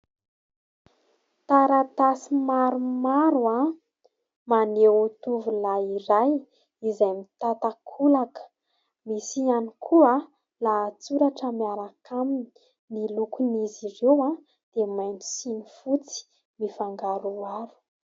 Taratasy maromaro maneho tovolahy iray izay mitan-takolaka. Misy ihany koa lahatsoratra miaraka aminy. Ny lokon'izy ireo dia mainty sy ny fotsy mifangaroharo.